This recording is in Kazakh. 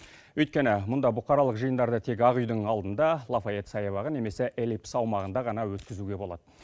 өйткені мұнда бұқаралық жиындарды тек ақ үйдің алдында лафайет саябағы немесе эллипс аумағында ғана өткізуге болады